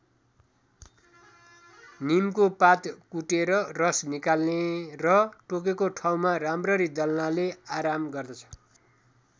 नीमको पात कुटेर रस निकाल्ने र टोकेको ठाउँमा राम्ररी दल्नाले आराम गर्दछ।